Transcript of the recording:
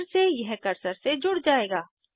फिर से यह कर्सर से जुड़ जायेगा